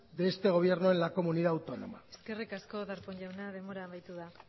de este gobierno en la comunidad autónoma eskerrik asko darpón jauna denbora amaitu da